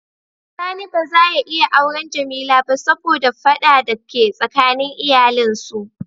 Sani ba za ya iya awren Jamila ba saboda fada da ke tsakanin iyalin su.